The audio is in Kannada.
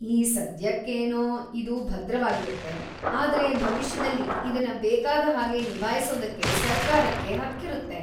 ಈ ಸದ್ಯಕ್ಕೇನೋ ಇದು ಭದ್ರವಾಗಿರುತ್ತೆ, ಆದ್ರೆ ಭವಿಷ್ಯದಲ್ಲಿ ಇದನ್ನ ಬೇಕಾದ ಹಾಗೆ ನಿಭಾಯಿಸೋದಕ್ಕೆ ಸರ್ಕಾರಕ್ಕೆ ಹಕ್ಕಿರುತ್ತೆ.